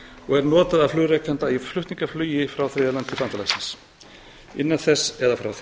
og er notað af flugrekanda frá þriðja landi til flugs til bandalagsins innan þess eða frá því